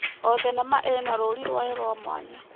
O thenema ĩna rũri rwayo rwa mwanya.